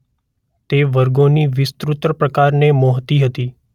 તે વર્ગોને વિસ્તૃત પ્રકારને મોહતી હતી